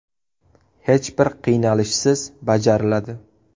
Hech bir qiynalishsiz bajariladi.